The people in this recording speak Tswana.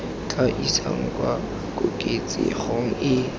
tla isang kwa koketsegong e